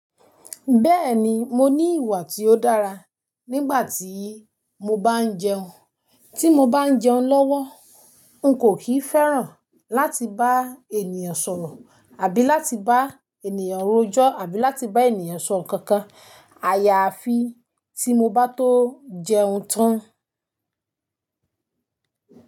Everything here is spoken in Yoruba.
Bẹ́ẹ̀ni, mo ní ìwà tí ó dára nígbà tí mo bá ń jẹun. Tí mo bá ń jẹun lọ́wọ́, n kò kìí fẹ́ràn láti bá ènìyàn sọ̀rọ̀ àbí láti bá ènìyàn rojọ́ àbí láti bá ènìyàn sọ nǹkan kan. Àyà àfi tí mo bá tó jẹun tán.